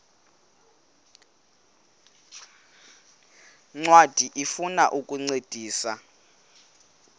ncwadi ifuna ukukuncedisa